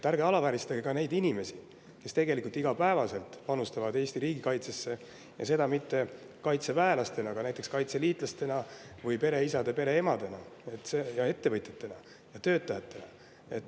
Ärge alavääristage ka neid inimesi, kes tegelikult iga päev panustavad Eesti riigikaitsesse, ja seda mitte kaitseväelastena, vaid näiteks kaitseliitlastena, pereisade ja pereemadena, ettevõtjatena ja töötajatena.